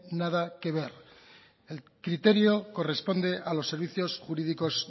nada que ver el criterio corresponde a los servicios jurídicos